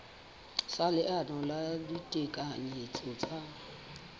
sa leano la ditekanyetso tsa